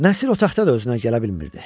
Nəsir otaqda da özünə gələ bilmirdi.